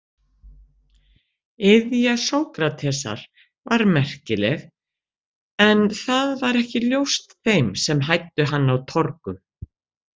Iðja Sókratesar var merkileg en það var ekki ljóst þeim sem hæddu hann á torgum.